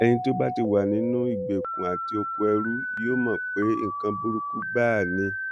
ẹni tó bá ti wà nínú ìgbèkùn àti okoẹrú yóò mọ pé nǹkan burúkú gbáà ni